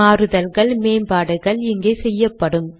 மாறுதல்கள் மேம்பாடுகள் இங்கே செய்யப்படும்